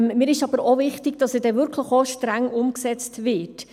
Mir ist aber auch wichtig, dass er auch wirklich streng umgesetzt wird.